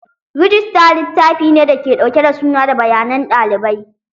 Rijista littafine da ke ɗauke da suna da bayanan ɗalibai.